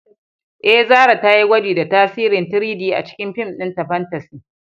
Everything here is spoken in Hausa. Eh, Zarah za ta yi gwaji da tasirin 3-D a cikin fim ɗinta fantasy